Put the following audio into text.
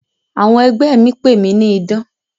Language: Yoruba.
Àwọn ẹgbẹ́ mi pè mí ní 'Idán'.